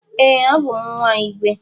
Ee, abum nwa igwe.